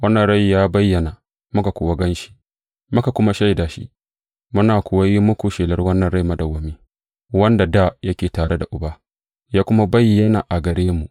Wannan Rai ya bayyana, muka kuwa gan shi, muka kuma shaida shi, muna kuwa yin muku shelar wannan rai madawwami, wanda dā yake tare da Uba, ya kuma bayyana a gare mu.